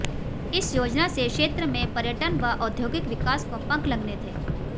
इस योजना से क्षेत्र में पर्यटन व औद्योगिक विकास को पंख लगने थे